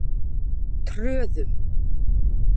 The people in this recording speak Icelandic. Tröðum